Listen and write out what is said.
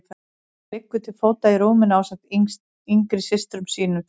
Hún liggur til fóta í rúminu ásamt yngri systrum sínum tveim.